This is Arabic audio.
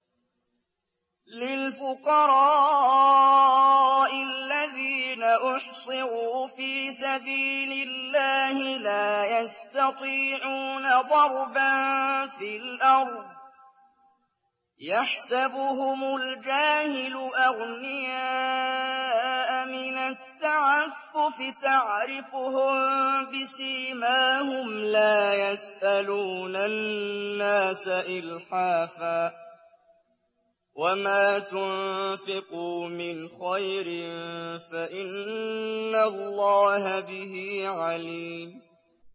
لِلْفُقَرَاءِ الَّذِينَ أُحْصِرُوا فِي سَبِيلِ اللَّهِ لَا يَسْتَطِيعُونَ ضَرْبًا فِي الْأَرْضِ يَحْسَبُهُمُ الْجَاهِلُ أَغْنِيَاءَ مِنَ التَّعَفُّفِ تَعْرِفُهُم بِسِيمَاهُمْ لَا يَسْأَلُونَ النَّاسَ إِلْحَافًا ۗ وَمَا تُنفِقُوا مِنْ خَيْرٍ فَإِنَّ اللَّهَ بِهِ عَلِيمٌ